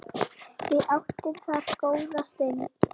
Við áttum þar góða stund.